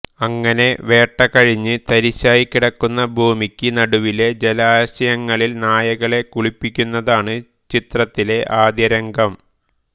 അങ്ങനെ വേട്ട കഴിഞ്ഞ് തരിശായി കിടക്കുന്ന ഭൂമിക്ക് നടുവിലെ ജലാശയത്തിൽ നായകളെ കുളിപ്പിക്കുന്നതാണ് ചിത്രത്തിലെ ആദ്യ രംഗം